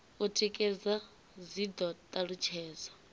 u tikedza dzi do talutshedzwa